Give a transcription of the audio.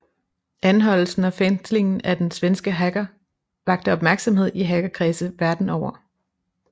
Anholdelsen og fængslingen af den svenske hacker vakte opmærksomhed i hackerkredse verden over